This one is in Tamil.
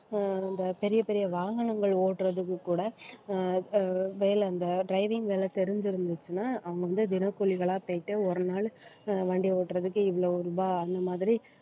ஆஹ் அந்த பெரிய பெரிய வாகனங்கள் ஓட்டுறதுக்கு கூட ஆஹ் அஹ் வேலை அந்த driving வேலை தெரிஞ்சிருந்துச்சுன்னா அவங்க வந்து தினக்கூலிகளாக போயிட்டு ஒரு நாள் ஆஹ் வண்டி ஓட்டுறதுக்கு இவ்வளோ ரூபாய் அந்த மாதிரி